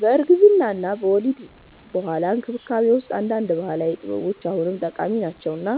በእርግዝና እና ከወሊድ በኋላ እንክብካቤ ውስጥ አንዳንድ ባህላዊ ጥበቦች አሁንም ጠቃሚ ናቸው እና